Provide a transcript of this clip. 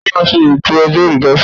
Ta ló máa ṣe ètò ọjọ́ olùdásílẹ̀?